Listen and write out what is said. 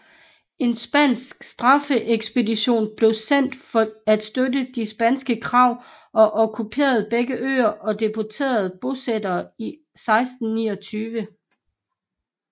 En spansk straffeekspedition blev sendt for at støtte de spanske krav og okkuperede begge øer og deporterede bosætterne i 1629